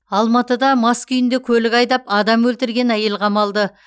алматыда мас күйінде көлік айдап адам өлтірген әйел қамалды